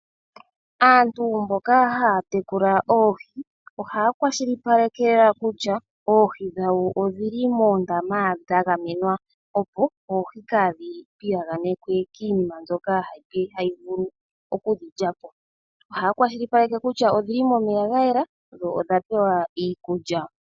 Aantu mboka haya tekula oohi ohaya kwashilipaleka kutya oohi dhawo odhili moondama dha gamenwa, opo oohi kaa dhi piyaganekwe kiinima mbyoka ha yi vulu oku dhilyapo. Ohaya kwashilipaleka kutya odhili momeya ga yela dho odhapewa iikulya.